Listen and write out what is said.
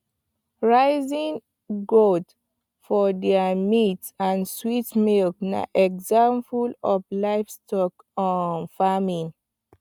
raising goat for their meat and sweet milk na example of livestock um farming